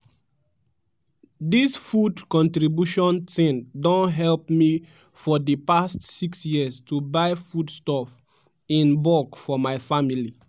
"dis food contribution tin don help me for di past six years to buy foodstuff in bulk for my family.